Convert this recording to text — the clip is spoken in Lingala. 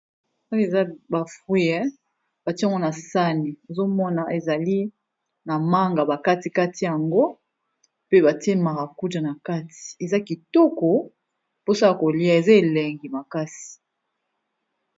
Oyo eza ba fruit batie ngo na sani ozo mona ezali na manga ba kati kati yango pe batie maracuja na kati, eza kitoko mposa kolia eza elengi makasi.